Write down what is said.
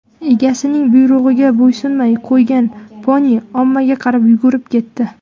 Egasining buyrug‘iga bo‘ysunmay qo‘ygan poni ommaga qarab yugurib ketdi.